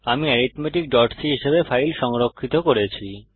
আমি arithmeticসি হিসাবে ফাইল সংরক্ষিত করেছি